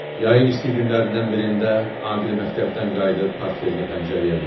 Yayın isti günlərindən birində Aqil məktəbdən qayıdıb portfelini pəncərəyə qoydu.